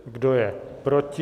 Kdo je proti?